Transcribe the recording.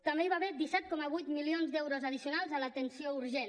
també hi va haver disset coma vuit milions d’euros addicionals a l’atenció urgent